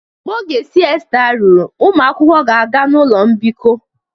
Mgbe oge siesta ruru, ụmụ akwụkwọ ga-aga ụlọ mbikọ